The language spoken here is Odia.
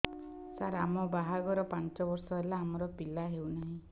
ସାର ଆମ ବାହା ଘର ପାଞ୍ଚ ବର୍ଷ ହେଲା ଆମର ପିଲା ହେଉନାହିଁ